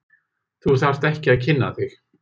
Þú þarft ekki að kynna þig.